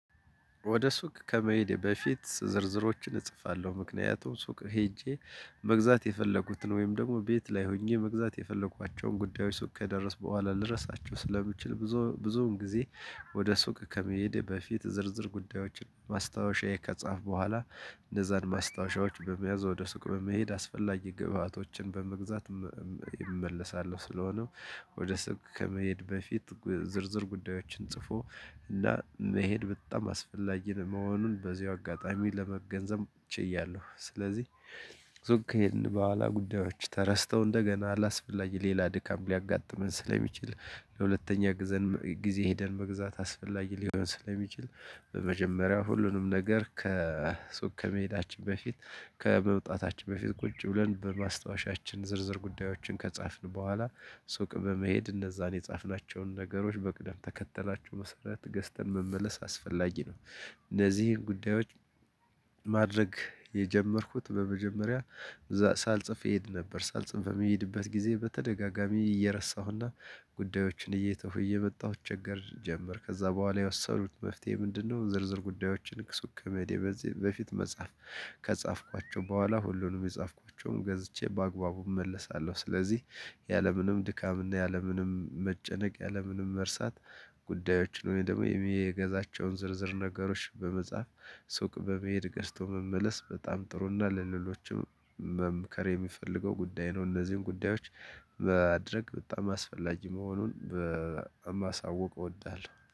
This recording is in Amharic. ወደ ሱቅ ከመሄዴ በፊት ዝርዝሮችን እጽፋለሁ ምክንያቱም ሱቅ ሄጄ መግዛት የፈለጉትን ወይም ደግሞ ቤት ላይ ሆኜ መግዛት የፈለኳቸውን ጉዳዮች ሱቅ ከደረስኩ በኋላ ልረሳቸው ስለምችል ብዙ ብዙውን ጊዜ ወደ ሱቅ ከመሄድ በፊት ዝርዝር ጉዳዮችን ማስታወሻዬ ከጻፍኩ በኋላ እነዛን ማስታወሻዎች በመያዝ ወደ ሱቅ በመሄድ አስፈላጊ ግብአቶችን በመግዛት እመለሳለሁ። ስለሆነው ወደ ሱቅ ከመሄድ በፊት ዝርዝር ጉዳዮችን ጽፎ እና መሄድ በጣም አስፈላጊ መሆኑን በዚሁ አጋጣሚ ለመገንዘብ እችያለሁ። ስለዚህ ሱቅ ይሄን በኋላ ጉዳዮች ተረስተው እንደገና ላስፈልግ ሌላ ድካም ሊያጋጥመን ስለሚችል ለሁለተኛ ጊዜ ሄደን መግዛት አስፈላጊ ሊሆን ስለሚችል በመጀመሪያው ሁሉንም ነገር ከሱቅ ከመሄዳችን በፊት ከመውጣታችን በፊት ቁጭ ብለን በማስታወሻችን ዝርዝር ጉዳዮችን ከጻፍን በኋላ ሱቅ በመሄድ እነዛን የጻፍናቸውን ነገሮች በቅደም ተከተላቸው መሰረት ገዝተን መመለስ አስፈላጊ ነው። እነዚህን ጉዳዮች። ማድረግ የጀመርኩት በመጀመሪያ ሳልጽፍ እሄድ ነበር ሳልጽፍ በሚሄድበት ጊዜ በተደጋጋሚ እየረሳሁና ጉዳዮችን እየተውኩ እየመጣሁ ተቸገር ጀመር ከዛ በኋላ የወሰዱኩት መፍትሄ ምንድነው? ዝርዝር ጉዳዮችን ከሱቅ ከመዴ በፊት በፊት መጻፍ ከጻፍኳቸው በኋላ ሁሉንም የጻፍኳቸውን ገዝቼ በአግባቡ እመለሳለሁ። ስለዚህ ያለምንም ድካምና ያለምንም መጨነቅ ያለምንም መርሳት ጉዳዮች ሆነው ወይ ደግሞ የሚገዛቸውን ዝርዝር ነገሮች በመጻፍ ሱቅ በመሄድ ገዝቶ መመለስ በጣም ጥሩ እና ለሌሎችም መምከር የሚፈልገው ጉዳይ ነው። እነዚህን ጉዳዮች ማድርግ በጣም አስፈላጊ መሆኑን ማሳወቅ እወዳለሁ